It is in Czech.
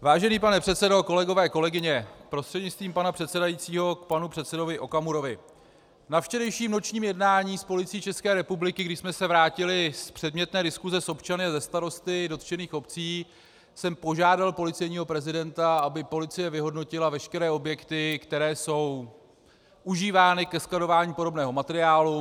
Vážený pane předsedo, kolegové, kolegyně, prostřednictvím pana předsedajícího k panu předsedovi Okamurovi: Na včerejším nočním jednání s Policií České republiky, když jsme se vrátili z předmětné diskuse s občany a se starosty dotčených obcí, jsem požádal policejního prezidenta, aby policie vyhodnotila veškeré objekty, které jsou užívány ke skladování podobného materiálu.